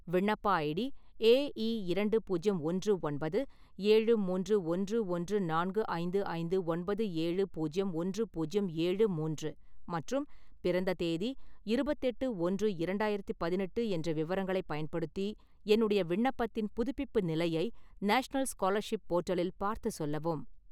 விண்ணப்ப ID A E இரண்டு பூஜ்யம் ஒன்று ஒன்பது ஏழு மூன்று ஒன்று ஒன்று நான்கு ஐந்து ஐந்து ஒன்பது ஏழு பூஜ்யம் ஒன்று புஜ்யம் ஏழு மூன்று மற்றும் பிறந்த தேதி இருபத்தெட்டு-ஒன்று -இரண்டாயிரத்து பதினெட்டு என்ற விவரங்களை பயன்படுத்தி என்னுடைய விண்ணப்பத்தின் புதுப்பிப்பு நிலையை நாஷ்னல் ஸ்காலர்ஷிப் போர்ட்டலில் பார்த்துச் சொல்லவும்